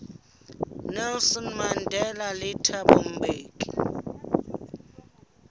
nelson mandela le thabo mbeki